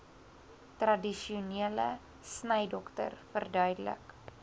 tradisionele snydokter verduidelik